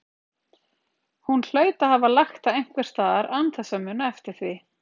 Hún hlaut að hafa lagt það einhvers staðar án þess að muna eftir því.